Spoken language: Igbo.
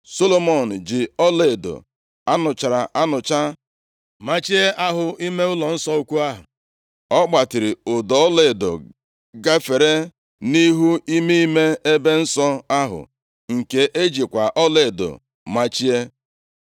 Solomọn ji ọlaedo a nụchara anụcha machie ahụ ime ụlọnsọ ukwu ahụ. Ọ gbatịrị ụdọ ọlaedo gafere nʼihu ime ime ebe nsọ ahụ, nke e jikwa ọlaedo machie.